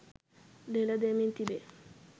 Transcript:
ලෙලදෙමින් තිබේ